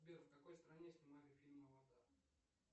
сбер в какой стране снимали фильм аватар